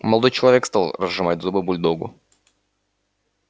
молодой человек стал разжимать зубы бульдогу